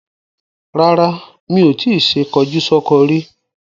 Rara, mi o ti ṣe kọjúsọ́kọ rí.